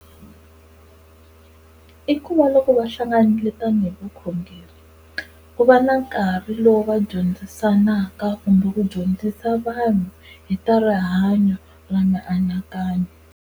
I ku va loko va hlanganile tanihi vukhongeri ku va na nkarhi lowu va dyondzisanaka kumbe ku dyondzisa vanhu hi ta rihanyo ra mianakanyo.